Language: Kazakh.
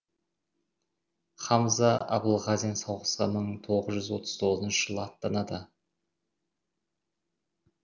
хамза абылғазин соғысқа мың тоғыз жүз отыз тоғызыншы жылы аттанады